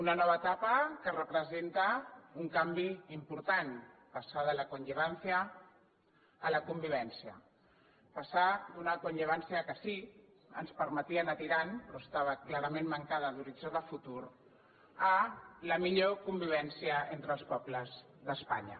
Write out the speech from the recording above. una nova etapa que representa un canvi important passar de la conllevanciala convivència passar d’una conllevanciapermetia anar tirant però estava clarament mancada d’horitzó de futur a la millor convivència entre els pobles d’espanya